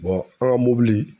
an ŋa mɔbili